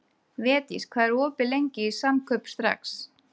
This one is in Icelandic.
Védís, hvað er opið lengi í Samkaup Strax?